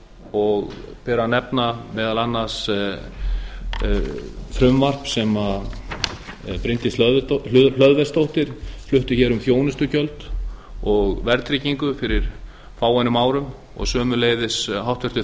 og ber að nefna meðal annars frumvarp sem bryndís hlöðversdóttir flutti hér um þjónustugjöld og verðtryggingu fyrir fáeinum árum og sömuleiðis háttvirtir